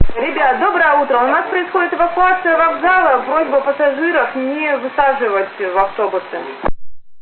ребята доброе утро у нас происходит эвакуация вокзала просьба пассажиров не высаживать в автобусы